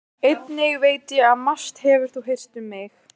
Einnig veit ég að margt hefur þú heyrt um mig.